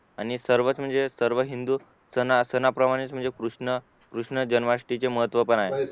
आणि सर्वच म्हणजे सर्व हिंदू सणा प्रमाणे म्हणजे कृष्ण कृष्णजन्माष्टमीच्या महत्व पण आहे